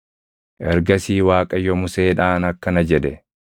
Ergasii Waaqayyo Museedhaan akkana jedhe;